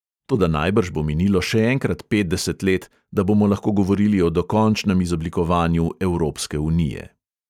Toda najbrž bo minilo še enkrat petdeset let, da bomo lahko govorili o dokončnem izoblikovanju evropske unije.